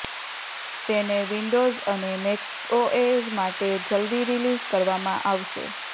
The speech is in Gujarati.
તેને વિન્ડોઝ અને મેકઓએસ માટે જલ્દી રિલીઝ કરવામાં આવશે